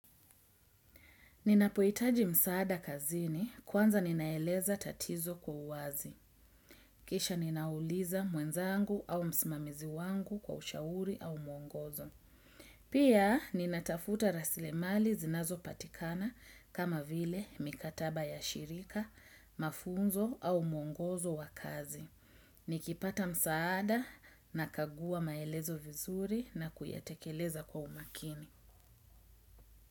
Ninapohitaji msaada kazini kwanza ninaeleza tatizo kwa uwazi. Kisha ninauliza mwenzangu au msimamizi wangu kwa ushauri au mwongozo. Pia ninatafuta rasilimali zinazopatikana kama vile mikataba ya shirika, mafunzo au mwongozo wa kazi. Nikipata msaada nakagua maelezo vizuri na kuyatekeleza kwa umakini.